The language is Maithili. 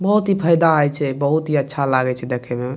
बहुत ही फायदा हेय छै बहुत ही अच्छा लागे छै देखे में।